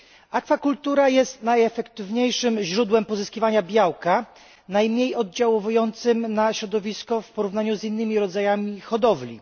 Akwakultura jest najefektywniejszym źródłem pozyskiwania białka, najmniej oddziałującym na środowisko w porównaniu z innymi rodzajami hodowli.